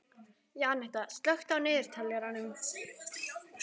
Jenetta, slökktu á niðurteljaranum.